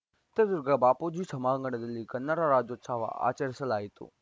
ಚಿತ್ರದುರ್ಗದ ಬಾಪೂಜಿ ಸಭಾಂಗಣದಲ್ಲಿ ಕನ್ನಡ ರಾಜ್ಯೋತ್ಸವ ಆಚರಿಸಲಾಯಿತು